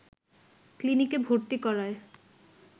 ক্লিনিকে ভর্তি করায়